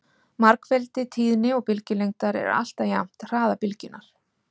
margfeldi tíðni og bylgjulengdar er alltaf jafnt hraða bylgjunnar